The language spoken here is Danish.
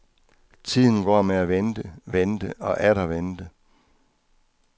Tiden går med at vente, vente og atter vente.